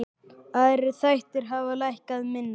Aðrir þættir hafa lækkað minna.